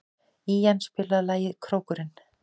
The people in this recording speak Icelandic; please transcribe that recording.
Ían, spilaðu lagið „Krókurinn“.